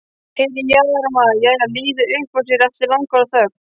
Heyrir hjáróma jæja líða upp úr sér eftir langa þögn.